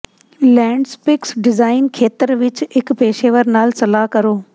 ਲੈਂਡਸਪਿਕਸ design ਖੇਤਰ ਵਿੱਚ ਇੱਕ ਪੇਸ਼ੇਵਰ ਨਾਲ ਸਲਾਹ ਕਰੋ